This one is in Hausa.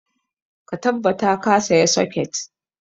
Ka tabbata ka saya socket!